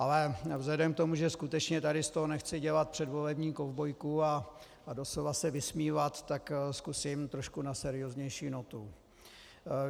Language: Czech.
Ale vzhledem k tomu, že skutečně tady z toho nechci dělat předvolební kovbojku a doslova se vysmívat, tak zkusím trošku na serióznější notu.